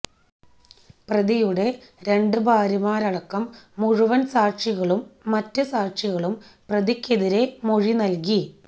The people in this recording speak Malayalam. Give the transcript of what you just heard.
പ്രതിയുടെ രണ്ട് ഭാര്യമാരടക്കം മുഴുവന് സാക്ഷികളും മറ്റ് സാക്ഷികളും പ്രതിക്കെതിരെ മൊഴി നല്കി